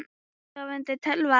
Sofandi tölva.